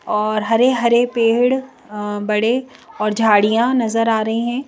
और हरे-हरे पेड़ अ बड़े और झाड़ियां नजर आ रही हैं।